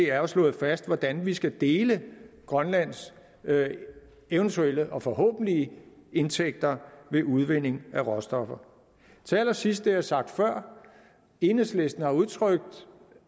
er slået fast hvordan vi skal dele grønlands eventuelle og forhåbentlige indtægter ved udvinding af råstoffer til allersidst vil jeg sagt før at enhedslisten har udtrykt